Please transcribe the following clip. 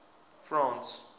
france